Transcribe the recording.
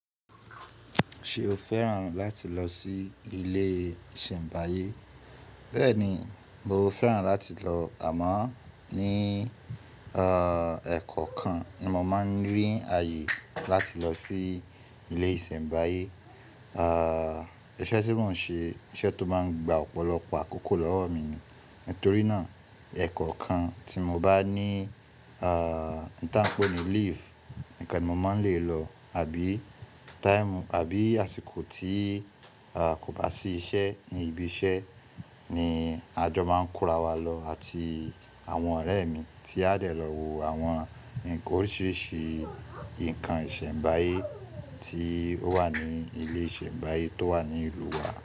Ṣé o fẹ́ràn láti lọ sí ilé ìsẹ̀mbáyé? Bẹ́ẹ̀ni, mo fẹ́ràn láti lọ àmọ́ ní ẹ̀kọ́ kan ni mo máa ń rí àyè láti lọ sí ilé ìsẹ̀mbáyé. Ẹ̀ṣẹ́ tí mò ń ṣe iṣẹ́ tó máa ń gba ọ̀pọ̀lọpọ̀ àkókò lọ́wọ́ mi ni. Nítorí náà ẹ̀kọ́ kan tí mo bá ní n tan ń pè ní leave nìkan ni mo máa ń lè lọ àbí time àbí àsìkò tí a kò bá sí iṣẹ́ ní ibi iṣẹ́ ni àjọ máa ń kóra wa lọ àti àwọn ọ̀rẹ́ mi tí a lè lọ wo àwọn nnkan oríṣiríṣi nǹkan ìsẹ̀mbáyé tí ó wà ní ilé ìsẹ̀mbáyé tó wà ní ìlúu wa.